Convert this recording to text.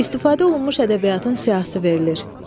İstifadə olunmuş ədəbiyyatın siyahısı verilir.